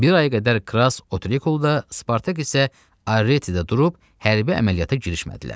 Bir aya qədər Krass Otrikulda, Spartak isə Aretidə durub hərbi əməliyyata girişmədilər.